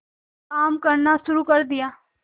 काम करना शुरू कर दिया